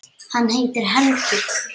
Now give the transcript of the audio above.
Hann heitir Helgi.